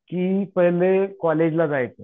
की पहिले कॉलेजला जायचं